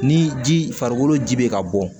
Ni ji farikolo ji be ka bɔ